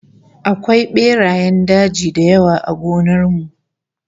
Akwai berayen daji da yawa a gonar mu